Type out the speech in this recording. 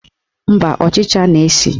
Mba, ọchịcha na-esi